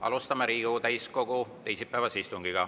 Alustame Riigikogu täiskogu teisipäevast istungit.